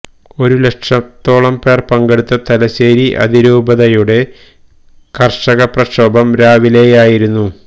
ഒരു ലക്ഷത്തോളം പേർ പങ്കെടുത്ത തലശേരി അതിരൂപതയുടെ കർഷക പ്രക്ഷോഭം രാവിലെയായിരുന്നു